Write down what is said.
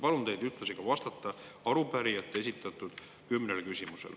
Palun teil ühtlasi vastata arupärijate esitatud kümnele küsimusele.